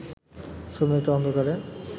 শ্রমিকরা অন্ধকারে